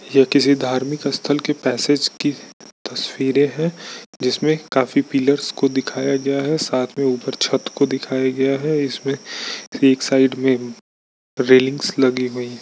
यह किसी धर्मिक स्थल की पैसेज की तस्वीरें है जिसमें काफी पिल्लर्स को दिखाया गया है साथै में ऊपर छत को दिखाया गया है इसमें एक साइड में रेलिंगस लगी हुुइ है।